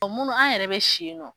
Ɔ munnu an yɛrɛ bɛ si yen nɔ.